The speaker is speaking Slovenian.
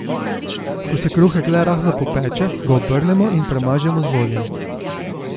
Ko se kruhek le rahlo popeče, ga obrnemo in premažemo z oljem.